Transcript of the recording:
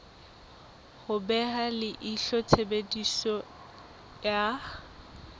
ho beha leihlo tshebediso ya